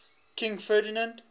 king ferdinand